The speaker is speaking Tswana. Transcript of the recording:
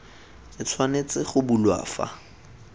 e tshwanetse go bulwa fa